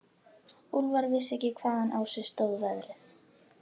Úlfar vissi ekki hvaðan á sig stóð veðrið.